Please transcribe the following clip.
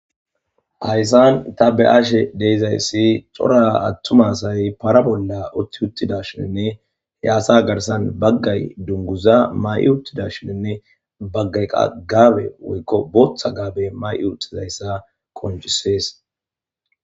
Hayisani ta beyashe dizayisi cora atuma asayi para bola utidashenne he para garisani utidashshenne he asa garisani bagayi duniguza msyi utidashshenne bagayi qasi botha gabbe mayo utidayisa qoncisesi